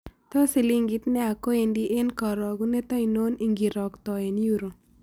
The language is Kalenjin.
Tos' silingit neyaa koendi eng' karogunet ainon ingiiroktoen euro